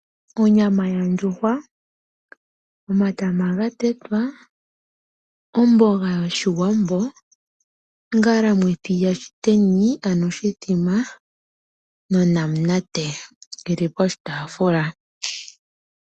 Onyama yondjuhwa, omatama gatetwa , omboga yoshiwambo, oNgalamwithi yaShiteni nonamunate oyili poshitaafula.